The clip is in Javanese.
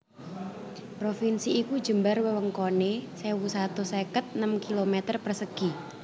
Provinsi iki jembar wewengkoné sewu satus seket enem kilometer persegi